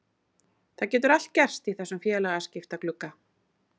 Það getur allt gerst í þessum félagaskiptaglugga.